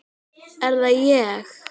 Er það ÉG??